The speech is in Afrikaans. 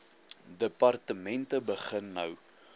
departemente begin nou